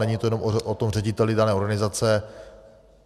Není to jenom o tom řediteli dané organizace.